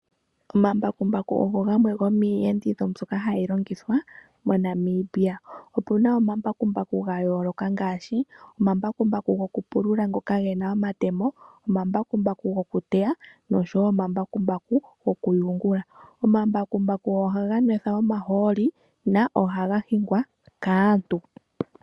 Omambakumbaku ogo gamwe gomiiyenditho mbyoka hayi longithwa moNamibia. Otuna omambakumbaku ga yooloka ngaaashi omambakumbaku goku pulula ngoka gena omatemo ,omambakumbaku goku teya noshowo omambakumbaku gokuyungula. Omambakumbaku ohaga nwethwa omahooli na ohaga hingwa kaantu.